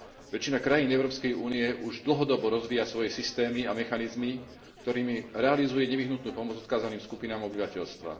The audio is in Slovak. Väčšina krajín Európskej únie už dlhodobo rozvíja svoje systémy a mechanizmy, ktorými realizuje nevyhnutnú pomoc odkázaným skupinám obyvateľstva.